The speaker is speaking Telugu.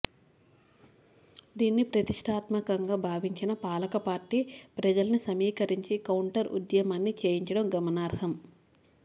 దీన్ని ప్రతిష్ఠాత్మకంగా భావించిన పాలకపార్టీ ప్రజల్ని సమీకరించి కౌంటర్ ఉద్యమాన్ని చేయించడం గమనార్హం